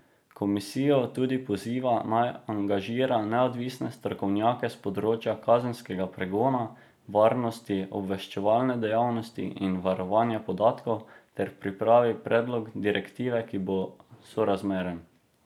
Komisijo tudi poziva, naj angažira neodvisne strokovnjake s področja kazenskega pregona, varnosti, obveščevalne dejavnosti in varovanja podatkov ter pripravi predlog direktive, ki bo sorazmeren.